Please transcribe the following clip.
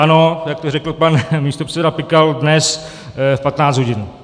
Ano, jak to řekl pan místopředseda Pikal , dnes v 15 hodin.